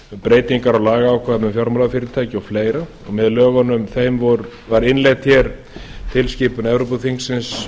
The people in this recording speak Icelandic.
breytingar á lagaákvæðum um fjármálafyrirtæki og fleira með lögunum var innleidd hér á landi tilskipun evrópuþingsins